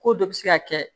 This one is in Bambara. Ko dɔ bi se ka kɛ